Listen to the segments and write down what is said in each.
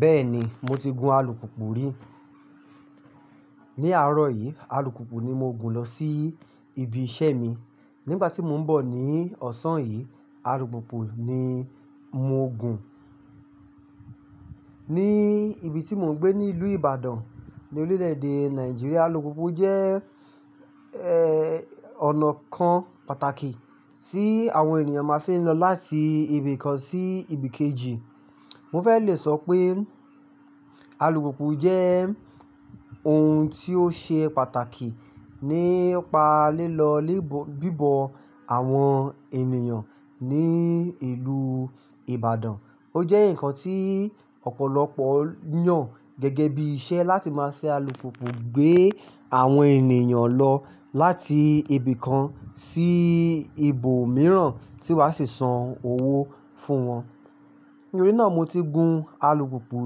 Bẹ́ẹ̀ni, mo ti gun alùpùpù rí. Ni àárọ̀ yìí, alùpùpù ni mo gun lọ sí ibi iṣẹ́ mi. Nígbà tí mò ń bọ̀ ní ọ̀sán yìí, alùpùpù ni mò ń gun. Ni ibi tí mò ń gbé nílùú Ìbàdàn, ní orílẹ̀-èdè Nàìjíríà, alùpùpù jẹ́, eh, ọ̀nà kan pàtàkì tí àwọn ènìyàn máa fí ń lọ láti ibi kan sí ibi kejì. Mo fẹ́ le sọ pé alùpùpù jẹ́ ohun tí ó ṣe pàtàkì nípa lílọ bíbọ àwọn ènìyàn ní ìlú Ìbàdàn. Ó jẹ́ ǹkan tí ọ̀pọ̀lọpọ̀ yàn gẹ́gẹ́ bí iṣẹ́ láti máa fi alùpùpù gbé àwọn ènìyàn lọ láti ibi kan sí ibòmíràn tí wọ́n á sì san owó fún wọn. Nítorí náà mo ti gun alùpùpù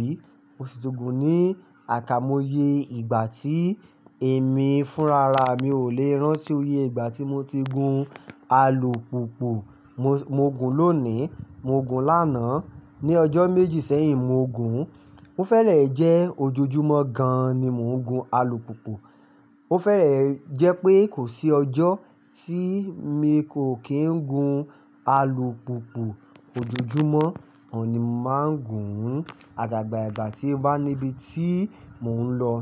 rí. Mo sì ti gun ní àiká moye ìgbà tí èmi fúnra ra. Mi ò lè rán tí óye ìgbà tí mo ti gun alùpùpù. Mo, mo gun lónìí, mo gun lánàá. Ni ọjọ́ méjì sẹ́yìn, mo gun. Ó fẹ́rẹ̀ẹ́ jẹ́ ojoojúmọ́ gan-an ni mò ń gun alùpùpù. Ó fẹ́rẹ̀ẹ́ jẹ́ pé kò sí ọjọ́ tí mi kò kí ń gun alùpùpù. Ojoojúmọ́ ni mà ń gun ún. Àgàga ìgbà tí a bá níbi tí mò ń lọ.